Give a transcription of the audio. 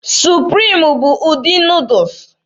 Supriim bụ ụdị Nuudus.